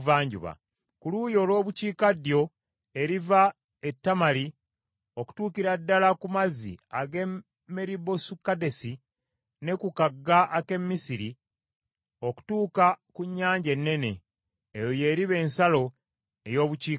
Ku luuyi olw’Obukiikaddyo eriva e Tamali okutuukira ddala ku mazzi ag’e Meribosukadesi, ne ku kagga ak’e Misiri okutuuka ku Nnyanja Ennene. Eyo y’eriba ensalo ey’Obukiikaddyo.